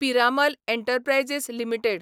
Piramal enterprises limited